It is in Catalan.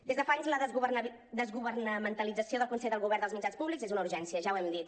des de fa anys la desgovernamentalització del consell de govern dels mitjans públics és una urgència ja ho hem dit